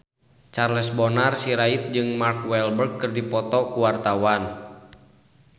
Charles Bonar Sirait jeung Mark Walberg keur dipoto ku wartawan